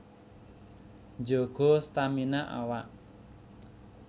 Njaga stamina awak